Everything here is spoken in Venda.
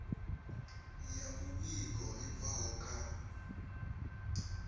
ya muvhigo i bvaho kha